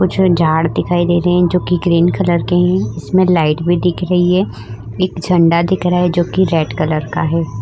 कुछ झाड़ दिखाई दे रहें हैं जोकि ग्रीन कलर की हैं। इसमें लाइट भी दिख रही है। एक झंडा दिख रहा है जोकि रेड कलर का है। ।